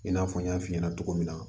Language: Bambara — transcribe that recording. I n'a fɔ n y'a f'i ɲɛna cogo min na